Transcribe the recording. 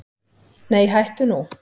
Nei hættu nú!